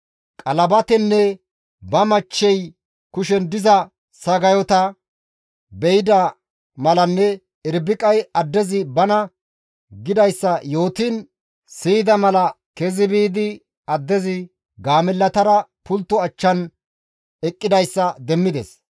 Qalabatenne ba michchey kushen diza sagayota be7ida malanne Irbiqay addezi bana gidayssa yootiin siyida mala kezi biidi addezi gaamellatara pulttoza achchan eqqidayssa demmides.